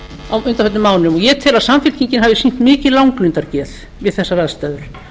á undanförnum mánuðum ég tel að samfylkingin hafi sýnt mikið langlundargeð við þessar aðstæður